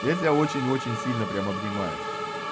я тебя очень очень сильно прямо обнимаю